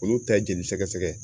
Olu ta ye jeli sɛgɛsɛgɛ ye.